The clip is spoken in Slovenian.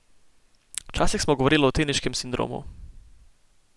Včasih smo govorili o teniškem sindromu.